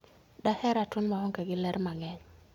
Daher ratuon maonge gi ler mang'eny